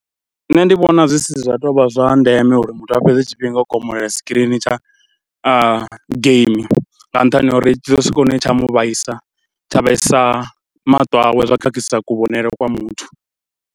Nṋe ndi vhona zwi si zwa tou vha zwa ndeme uri muthu a fhedze tshifhinga u komolela sikirini tsha geimi nga nṱhani ha uri tshi ḓo swika hune tsha mu vhaisa tsha vhaisa maṱo awe zwa khakhisa kuvhonele kwa muthu.